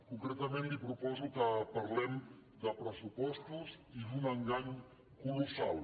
concretament li proposo que parlem de pressupostos i d’un engany colossal